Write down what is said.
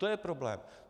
To je problém.